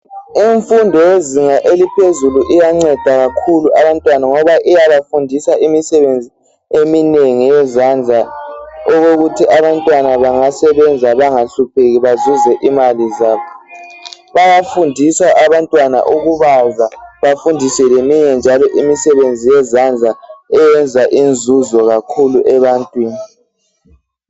Imfundo yezinga eliphezulu iyanceda kakhulu abantwana ngoba iyabafundisa imisebenzi eminengi yezandla . Okokuthi abantwana bangasebenza bangahlupheki bazuze imali zabo .Bayafundiswa abantwana ukubaza bafundiswe leminye njalo imisebenzi yezandla eyenza inzuzo kakhulu ebantwini .